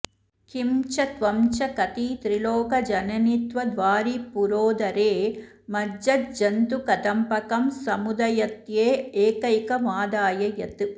किं च त्वं च कति त्रिलोकजननित्वद्वारिपूरोदरे मज्जज्जन्तुकदम्बकं समुदयत्येकैकमादाय यत्